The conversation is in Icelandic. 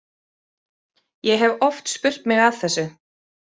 Ég hef oft spurt mig að þessu.